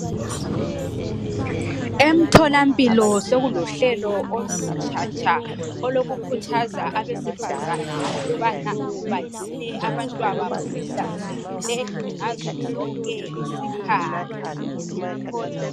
Emtholampilo sokulohlelo olutshatsha olokukhuthaza abesifazana ukubana bagcine abantwababo behlanzekile ngazozonke isikhathi.